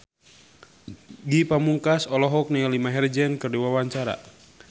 Ge Pamungkas olohok ningali Maher Zein keur diwawancara